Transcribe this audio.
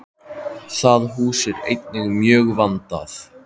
Það hús er einnig mjög vandað.